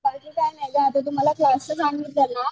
बाकी काय नाय ग आता तू मला क्लास च सांगितलं ना